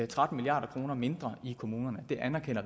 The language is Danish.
tretten milliard kroner mindre i kommunerne